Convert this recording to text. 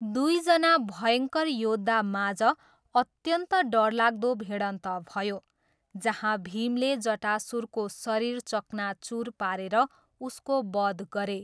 दुइजना भयङ्कर योद्धामाझ अत्यन्त डरलाग्दो भिडन्त भयो, जहाँ भीमले जटासुरको शरीर चकनाचुर पारेर उसको बध गरे।